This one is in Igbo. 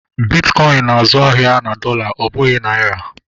Bitkọin na-azụ ahịa na dọla ọ bụghị naira